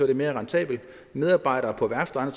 det mere rentabelt medarbejdere på værfter og